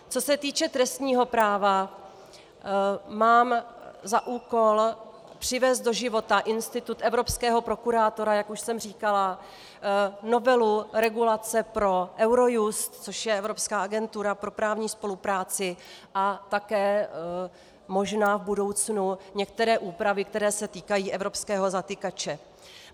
Co se týče trestního práva, mám za úkol přivést do života institut evropského prokurátora, jak už jsem říkala, novelu regulace pro Eurojust, což je evropská agentura pro právní spolupráci, a také možná v budoucnu některé úpravy, které se týkají evropského zatykače.